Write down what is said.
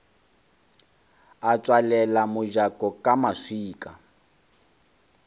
a tswalela mojako ka maswika